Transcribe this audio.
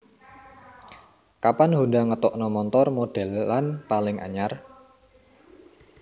Kapan Honda ngetokno montor modelan paling anyar